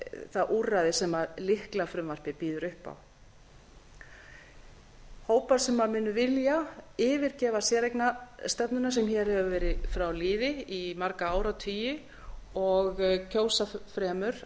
það úrræði sem lyklafrumvarpið býður upp á hópar sem munu vilja yfirgefa séreignarstefnuna sem hér hefur verið við lýði í marga áratugi og kjósa fremur